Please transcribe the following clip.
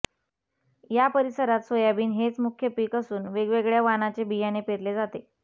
या परिसरात सोयाबीन हेच मुख्य रोख पीक असून वेगवेगळया वानाचे बियाणे पेरले जाते